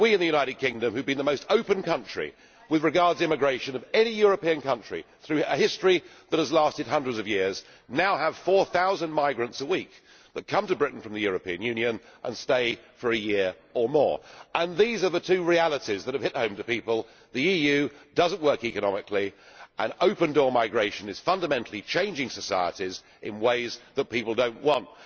We in the United Kingdom who have been the most open country with regard to immigration of any European country through a history that has lasted hundreds of years now have 4000 migrants a week who come to Britain from the European Union and stay for a year or more. These are the two realities that have hit home to people the EU does not work economically, and open door migration is fundamentally changing societies in ways that people do not want.